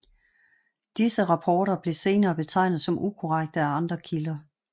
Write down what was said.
Disse rapporter blev senere betegnet som ukorrekte af andre kilder